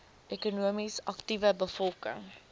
ekonomies aktiewe bevolking